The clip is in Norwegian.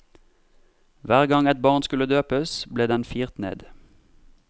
Hver gang et barn skulle døpes, ble den firt ned.